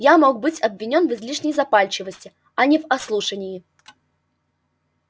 я мог быть обвинён в излишней запальчивости а не в ослушании